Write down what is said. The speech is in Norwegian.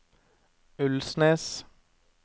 Ulnes